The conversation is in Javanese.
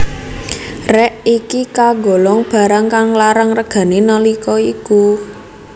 Rèk iki kagolong barang kang larang regané nalika iku